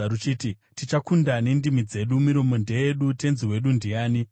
ruchiti, “Tichakunda nendimi dzedu; miromo ndeyedu, tenzi wedu ndiani?”